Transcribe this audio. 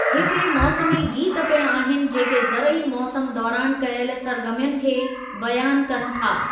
हिते मौसमी गीतु पिण आहिनि जेके ज़रई मौसमु दौरानि कयल सरगर्मियुनि खे बयानु कनि था।